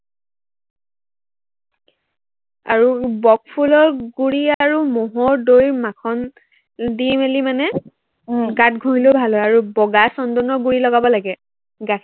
আৰু বক ফুলৰ গুৰি আৰু মহৰ দৈ মাখন দি মেলি মানে উম গাত ঘহিলেও ভাল হয়। আৰু বগা চন্দনৰ গুৰি লগাব লাগে। গাখীৰ